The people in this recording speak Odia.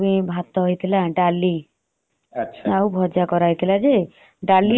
ହଁ ହଁ ଆମର ବି ଭାତ ହେଇଥିଲା ଡାଲି